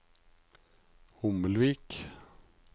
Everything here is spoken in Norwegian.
Hommelvik